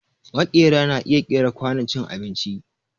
Maƙera na iya ƙera kwanon cin abinci